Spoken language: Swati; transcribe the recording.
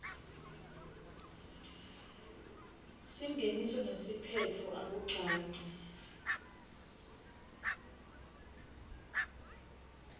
singeniso nesiphetfo akucaci